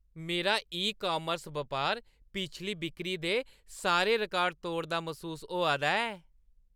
मेरा ई-कॉमर्स बपार पिछली बिक्री दे सारे रिकार्ड त्रोड़दा मसूस होआ दा ऐ।